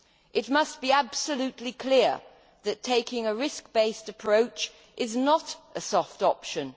It must be absolutely clear that taking a risk based approach is not a soft option.